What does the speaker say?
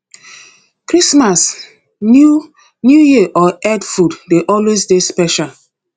christmas new new year or eid food de always dey special